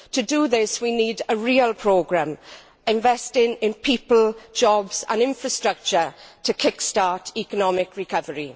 To do this we need a real programme investing in people, jobs and infrastructure to kick start economic recovery.